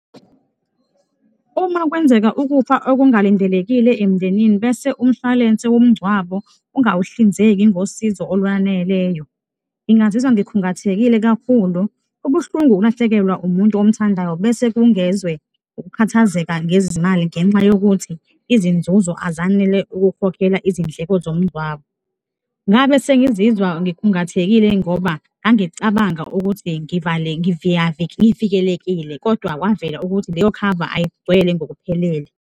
Uma kwenzeka ukufa okungalindelekile emndenini bese umshwalense womngcwabo ungawuhlinzeki ngosizo olwaneleyo, ngingazizwa ngikhungathekile kakhulu. Kubuhlungu ukulahlekelwa umuntu omthandayo bese kungezwe ukukhathazeka ngezimali ngenxa yokuthi izinzuzo azanele ukukhokhela izindleko zomngcwabo. Ngabe sengizizwa ngikhungathekile ngoba ngangicabanga ukuthi ngivikelekile kodwa kwavela ukuthi leyo khava ayigcwele ngokuphelele.